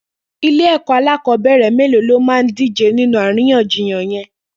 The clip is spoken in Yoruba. Ilé ẹkọ akọbẹrẹ méló lómá dijé ninú àrínyànjíyàn yèn?